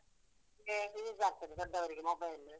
Use ಆಗ್ತದೆ ದೊಡ್ಡವರಿಗೆ mobile .